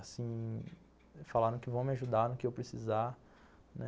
Assim, falaram que vão me ajudar no que eu precisar, né?